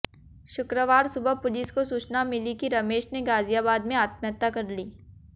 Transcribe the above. शुक्रवार सुबह पुलिस को सूचना मिली कि रमेश ने गाजियाबाद में आत्महत्या कर ली